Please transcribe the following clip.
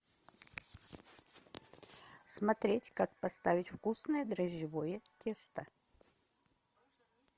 смотреть как поставить вкусное дрожжевое тесто